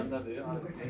Sən harda gəldin?